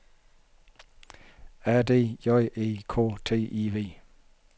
A D J E K T I V